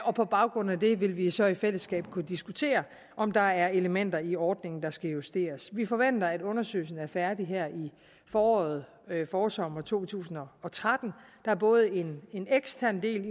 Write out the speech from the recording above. og på baggrund af det vil vi så i fællesskab kunne diskutere om der er elementer i ordningen der skal justeres vi forventer at undersøgelsen er færdig her i foråret i forsommeren to tusind og og tretten der er både en en ekstern del